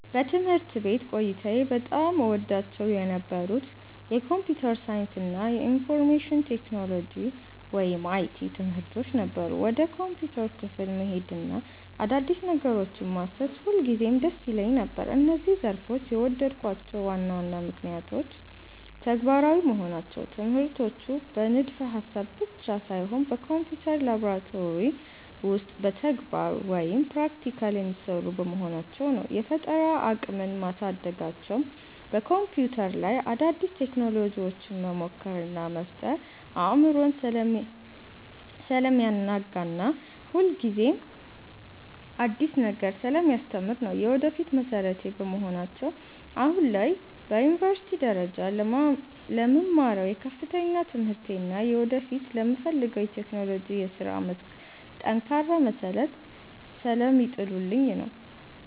በትምህርት ቤት ቆይታዬ በጣም እወዳቸው የነበሩት የኮምፒውተር ሳይንስ እና የኢንፎርሜሽን ቴክኖሎጂ (IT) ትምህርቶች ነበሩ። ወደ ኮምፒውተር ክፍል መሄድና አዳዲስ ነገሮችን ማሰስ ሁልጊዜም ደስ ይለኝ ነበር። እነዚህን ዘርፎች የወደድኩባቸው ዋና ዋና ምክንያቶች፦ ተግባራዊ መሆናቸው፦ ትምህርቶቹ በንድፈ-ሐሳብ ብቻ ሳይሆን በኮምፒውተር ላብራቶሪ ውስጥ በተግባር (Practical) የሚሰሩ በመሆናቸው ነው። የፈጠራ አቅምን ማሳደጋቸው፦ በኮምፒውተር ላይ አዳዲስ ቴክኖሎጂዎችን መሞከር እና መፍጠር አእምሮን ስለሚያናጋና ሁልጊዜም አዲስ ነገር ስለሚያስተምር ነው። የወደፊት መሠረቴ በመሆናቸው፦ አሁን ላይ በዩኒቨርሲቲ ደረጃ ለምማረው የከፍተኛ ትምህርቴ እና ወደፊት ለምፈልገው የቴክኖሎጂ የሥራ መስክ ጠንካራ መሠረት ስለሚጥሉልኝ ነው።